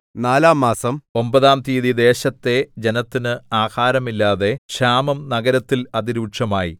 നാലാംമാസം ഒമ്പതാം തീയതി ദേശത്തെ ജനത്തിന് ആഹാരമില്ലാതെ ക്ഷാമം നഗരത്തിൽ അതിരൂക്ഷമായി